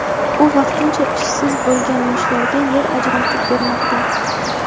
u vaqtincha ishsiz bo‘lgan yoshlarga yer ajratib bermoqda.